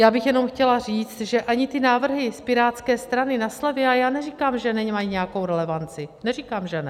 Já bych jenom chtěla říct, že ani ty návrhy z Pirátské strany na slevy - já neříkám, že nemají nějakou relevanci, neříkám, že ne.